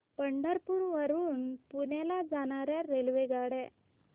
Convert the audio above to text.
पंढरपूर वरून पुण्याला जाणार्या रेल्वेगाड्या